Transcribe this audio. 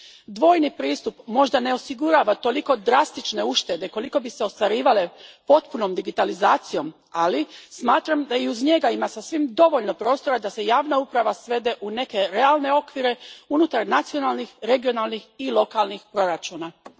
Dvojni pristup možda ne osigurava toliko drastične uštede kolike bi se ostvarivale potpunom digitalizacijom, ali smatram da i uz njega ima sasvim dovoljno prostora da se javna uprava svede u neke realne okvire unutar nacionalnih, regionalnih i lokalnih proračuna. Hvala lijepa.